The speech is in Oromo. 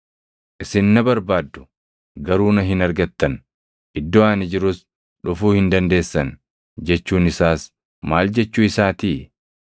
‘Isin na barbaaddu; garuu na hin argattan; iddoo ani jirus dhufuu hin dandeessan’ jechuun isaas maal jechuu isaatii?”